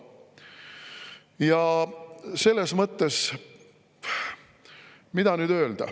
Mida nüüd öelda?